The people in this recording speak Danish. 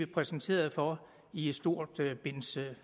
præsenteret for i et stort